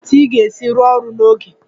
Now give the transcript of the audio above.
Olee otú ị ga-esi rụọ ọrụ n'oge?